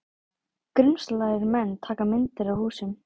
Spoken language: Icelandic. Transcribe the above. Grunsamlegir menn taka myndir af húsum